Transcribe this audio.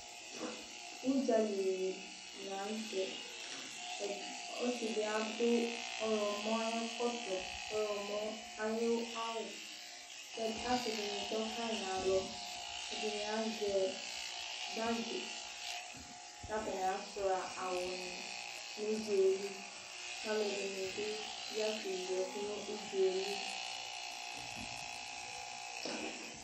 Ʋdzali nɩ la nʋ tɛƆsɩ dɩ adʋ ɔɣlɔmɔ ayɛkɔtɔ, ɔɣlɔmɔ ayʋ awʋ kɛd, asɩ dɩnɩ tɔ kayɩ nalɔƐdɩnɩ azɛ bagɩ, katanɩ asʋɩa awʋ nɩ nʋdzaɛliKalʋ ɛdɩnɩ bɩ ya keyi ɛkʋ nʋdzaɛ li